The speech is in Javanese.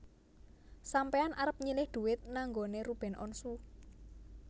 Sampean arep nyilih duit nang nggonane Ruben Onsu